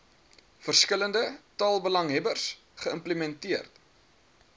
verskillende taalbelanghebbers geïmplementeer